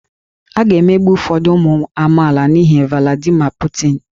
A ga-emegbu ụfọdụ ụmụ amaala n'ihi Vladimir Putin